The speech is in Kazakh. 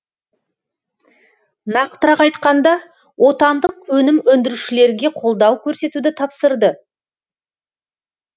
нақтырақ айтқанда отандық өнім өндірушілерге қолдау көрсетуді тапсырды